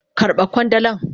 Karba kwandalan.